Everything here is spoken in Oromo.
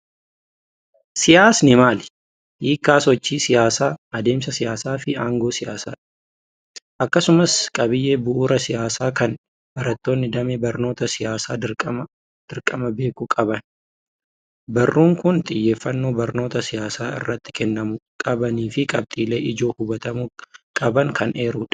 Siyaasni maali? Hiikkaa sochii siyaasaa, adeemsa siyaasaa fi aangoo siyaasaa. Akkasumas qabiyyee bu'uuraa siyaasaa kan barattoonnii damee barnoota siyaasaa dirqama beekuu qaban. Barruun kun xiyyeeffannoo barnoota siyaasaa irratti kennamuu qabanii fi qabxiilee ijoo hubatamuu qaban kan eerudha.